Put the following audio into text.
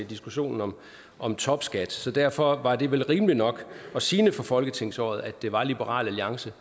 diskussionen om om topskat så derfor var det vel rimeligt nok og sigende for folketingsåret at det var liberal alliance